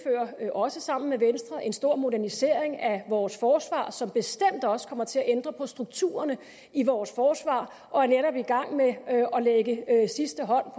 også sammen med venstre en stor modernisering af vores forsvar som bestemt også kommer til at ændre på strukturerne i vores forsvar og er netop i gang med at lægge sidste hånd